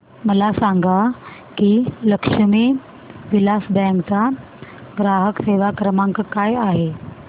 मला सांगा की लक्ष्मी विलास बँक चा ग्राहक सेवा क्रमांक काय आहे